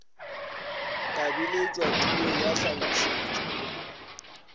ka biletšwa tulong ya tlhalošetšo